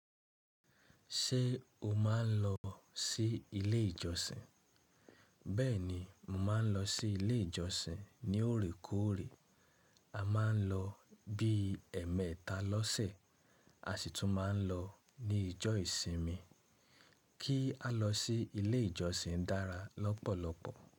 Ṣé o máa ń lọ sí ilé ìjọsìn? Bẹ́ẹ̀ni, mo máa ń lọ sí ilé ìjọsìn ní òrékòórè. A máa ń lọ bí ẹ̀ẹ̀mẹta lọ́sẹ̀, a sì tún máa ń lọ ní ìjọ ìsinmi. Kí á lọ sí ilé ìjọsìn dára lọ́pọ̀lọpọ̀.